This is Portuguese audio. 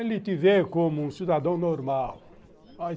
Ele te vê como um cidadão normal.